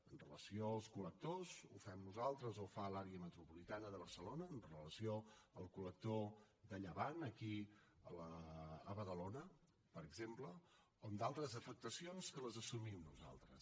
amb relació als col·lectors ho fem nosaltres o ho fa l’àrea metropolitana de barcelona amb relació al col·lector de llevant aquí a badalona per exemple o amb d’altres afectacions que les assumim nosaltres